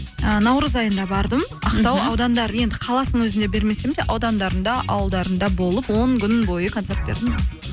і наурыз айында бардым ақтау аудандары енді қаласының өзінде бермесем де аудандарында ауылдарында болып он күн бойы концерт бердім